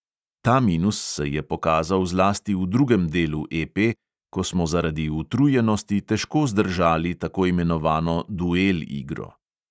Ta minus se je pokazal zlasti v drugem delu EP, ko smo zaradi utrujenosti težko zdržali tako imenovano duel igro.